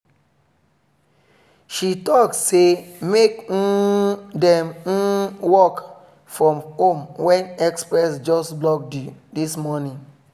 she talk say make um them work from home when express just block this morning